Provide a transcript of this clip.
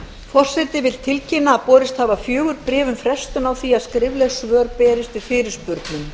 forseti vill tilkynna að borist hafa fjögur bréf um frestun á því að skrifleg svör berist